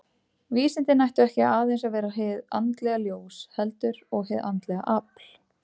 Vísindin ættu ekki aðeins að vera hið andlega ljós, heldur og hið andlega afl.